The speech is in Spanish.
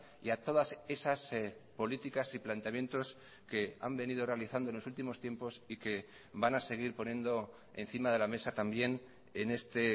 y a todas esas políticas y planteamientos que han venido realizando en los últimos tiempos y que van a seguir poniendo encima de la mesa también en este